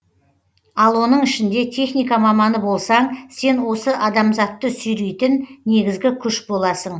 ал оның ішінде техника маманы болсаң сен осы адамзатты сүйрейтін негізгі күш боласың